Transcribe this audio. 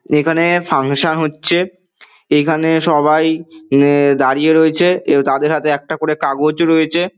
এইখানে ফাঙ্কশন হচ্ছে। এইখানে সবাই দাঁড়িয়ে রয়েছে। তাদের হাতে একটা কাগজ আছে।